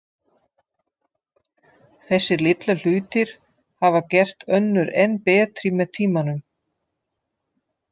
Þessir litlu hlutir hafa gert önnur enn betri með tímanum.